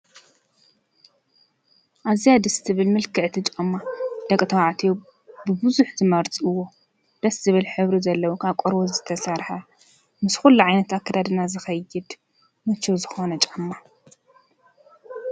ኣዝያ ደስ ትብል ምልክዕቲ ጫማ ደቂ ተባዕትዮ ብዙሕ ዝመርፅዎ ደስ ዝብል ሕብሪ ዘለዎ ካብ ቆርበት ዝተሰረሐ ምስ ኩሉ ዓይነት ኣካዳድና ዝከይድ ምችው ዝኾነ ጫማ።